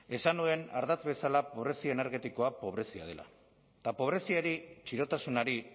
esan nuen ardatz bezala pobrezia energetikoa pobrezia dela eta pobreziari txirotasunari